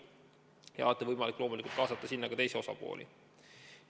Aga alati on loomulikult võimalik kaasata sinna ka teisi osapooli.